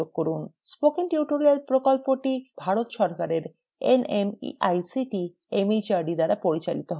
spoken tutorial প্রকল্পটি ভারত সরকারের nmeict mhrd দ্বারা পরিচালিত হয়